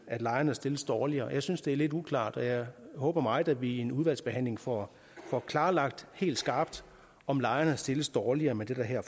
at lejerne stilles dårligere jeg synes det er lidt uklart og jeg håber meget at vi i udvalgsbehandlingen får klarlagt helt skarpt om lejerne stilles dårligere med det der her